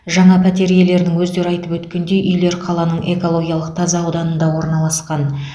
жаңа пәтер иелерінің өздері айтып өткендей үйлер қаланың экологиялық таза ауданында орналасқан